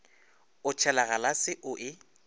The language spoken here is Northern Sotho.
o tšhela galase o e